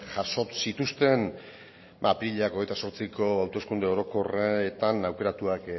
jaso zituzten apirilak hogeita zortziko hauteskunde orokorretan aukeratuak